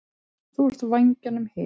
Þú ert vængjunum himinn.